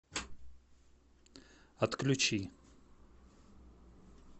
отключи